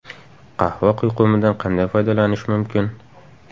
Qahva quyqumidan qanday foydalanish mumkin?.